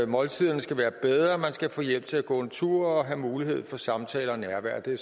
måltiderne skal være bedre man skal få hjælp til at gå en tur og have mulighed for samtaler og nærvær det